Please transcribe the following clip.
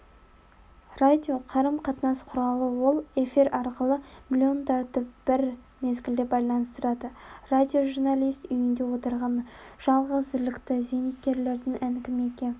радио қарым-қатынас құралы ол эфир арқылы миллиондарды бір мезгілде байланыстырады радиожурналист үйінде отырған жалғызілікті зейнеткердің әңгімеге